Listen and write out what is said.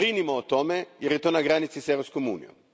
Brinimo o tome jer je to na granici s Europskom unijom.